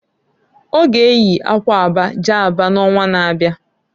Ọ ga eyi akwa aba jee Aba n'onwa na-abia.